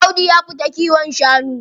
Audu ya fita kiwon shanu.